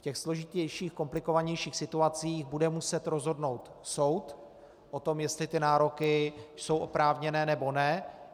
V těch složitějších, komplikovanějších situacích bude muset rozhodnout soud o tom, jestli ty nároky jsou oprávněné, nebo ne.